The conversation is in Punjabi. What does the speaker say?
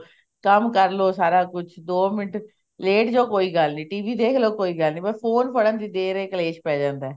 ਕੰਮ ਕਰਲੋ ਸਾਰਾ ਕੁਛ ਦੋ ਮਿੰਟ ਲੇਟ ਜੋ ਕੋਈ ਗੱਲ ਨੀ TV ਦੇਖਲੋ ਕੋਈ ਗੱਲ ਨੀ phone ਫੜਨ ਦੀ ਦੇਰ ਹੈ ਕਲੇਸ਼ ਪੈ ਜਾਂਦਾ